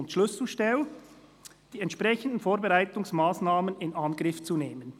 Danach kommt die Schlüsselstelle: «[und] die entsprechenden Vorbereitungsmassnahmen in Angriff zu nehmen.